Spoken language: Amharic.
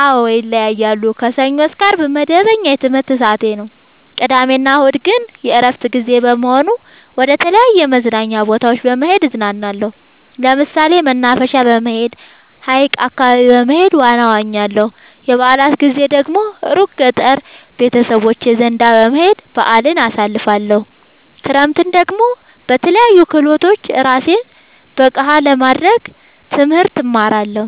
አዎ ይለያያለሉ። ከሰኞ እስከ አርብ መደበኛ የትምህርት ሰዓቴ ነው። ቅዳሜ እና እሁድ ግን የእረፍት ጊዜ በመሆኑ መደተለያዩ መዝናኛ ቦታዎች በመሄድ እዝናናለሁ። ለምሳሌ መናፈሻ በመሄድ። ሀይቅ አካባቢ በመሄድ ዋና እዋኛለሁ። የበአላት ጊዜ ደግሞ እሩቅ ገጠር ቤተሰቦቼ ዘንዳ በመሄድ በአልን አሳልፍለሁ። ክረምትን ደግሞ በለያዩ ክህሎቶች እራሴን ብቀሐ ለማድረግ ትምህርት እማራለሁ።